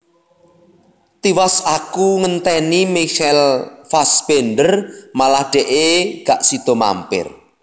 Tiwas aku ngenteni Michael Fassbender malah dekke gak sido mampir